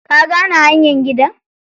Ka gane hanyar gidan?